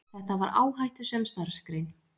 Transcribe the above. Þetta var áhættusöm starfsgrein.